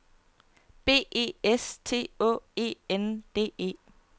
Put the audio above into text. B E S T Å E N D E